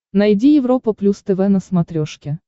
найди европа плюс тв на смотрешке